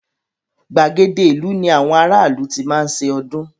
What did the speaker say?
Gbàgede ìlú ní àwọn ará ìlú tí máa ń ṣe ọdún.